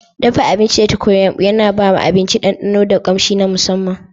Dafa abinci da tukunyar yumbu yana ba abinci ɗanɗano da ƙamshi na musamman.